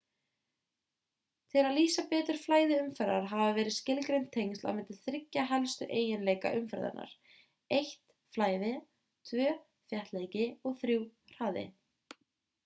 tiil að lýsa betur flæði umferðar hafa verið skilgreind tengsl á milli þriggja helstu eiginleika umferðar: 1 flæði 2 þéttleiki og 3 hraði